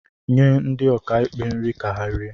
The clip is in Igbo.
nye ndi okaikpé nri ka ha rie